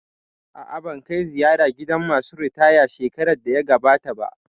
A'a, ban kai ziyara gidan masu ritaya shekarar da ta gabata ba